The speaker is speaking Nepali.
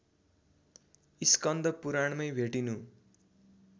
स्कन्द पुराणमै भेटिनु